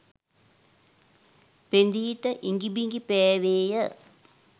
පෙඳී ට ඉඟි බිඟි පෑවේය